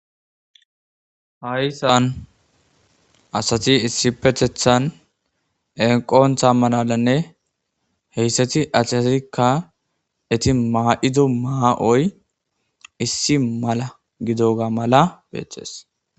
Haysan asati issi pethethan enqontha malalanne heyssati asiasikka eti maa7idu maa7oy issi mala gido ga mala beeththes.